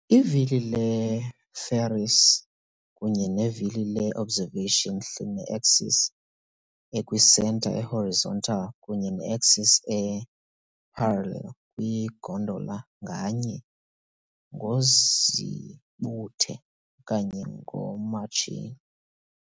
Ivili le-Ferris kunye nevili le-observation hline-axis ekwisenta e-horizontal, kunye ne-axis e-parallel kwi-gondola nganye, ngozibuthe, okanye ngomatshini.